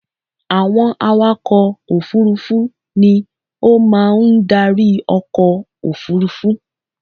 Àwọn awakọ òfurufú ni ó máa ń darí ọkọ̀ òfurufú.